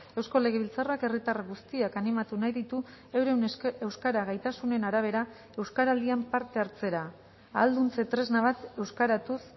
eusko legebiltzarrak herritar guztiak animatu nahi ditu euren euskara gaitasunen arabera euskaraldian parte hartzera ahalduntze tresna bat euskaratuz